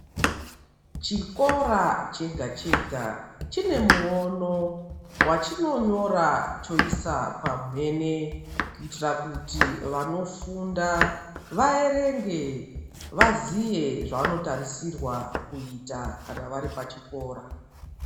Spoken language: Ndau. Chikora chega chega chinemuono wachinonyora choisa pamhene kuyitira kuti vanofunda vayerenge vaziye zvavanotarisirwa kuita kana vari pachikora.